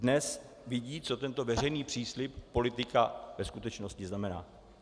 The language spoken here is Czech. Dnes vědí, co tento veřejný příslib politika ve skutečnosti znamená.